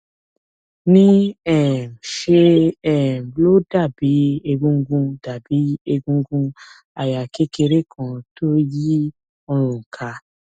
ní um ṣe um ló dàbí egungun dàbí egungun àyà kékeré kan tó yí ọrùn ká